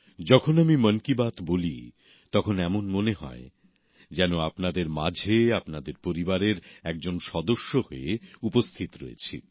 যখন আমি মন কি বাত বলি তখন এমন মনে হয় যেন আপনাদের মাঝে আপনাদের পরিবারের একজন সদস্য হয়ে উপস্থিত রয়েছি